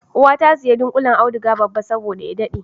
Uwa ta sayi dunƙullen auduga babba saboda ya daɗe